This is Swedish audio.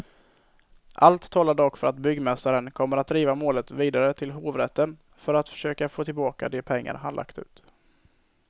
Allt talar dock för att byggmästaren kommer att driva målet vidare till hovrätten för att försöka få tillbaka de pengar han lagt ut.